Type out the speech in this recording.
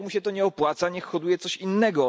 Jak mu się to nie opłaca, niech hoduje coś innego.